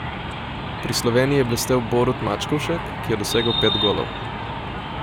Pri Sloveniji je blestel Borut Mačkovšek, ki je dosegel pet golov.